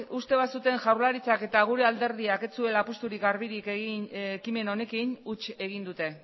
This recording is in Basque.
uste bazuten jaurlaritzak eta gure alderdiak ez zuela apustu garbirik egin ekimen honekin huts egin dute